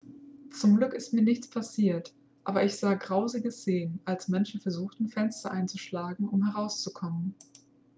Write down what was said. zum glück ist mir nichts passiert aber ich sah grausige szenen als menschen versuchten fenster einzuschlagen um herauszukommen